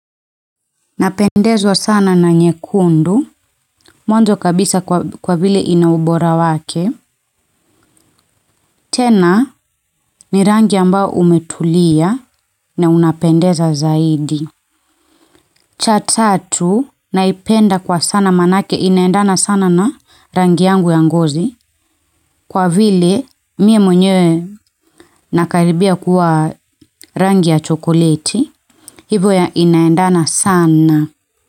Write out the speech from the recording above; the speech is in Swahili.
Napendezwa sana na nyekundu, mwanzo kabisa kwa vile ina ubora wake. Tena, ni rangi ambayo umetulia na unapendeza zaidi. Cha tatu, naipenda manake inaendana sana na rangi yangu ya ngozi kwa vile mie mwenyewe nakaribia kuwa rangi ya chokoleti hivyo inaendana sana.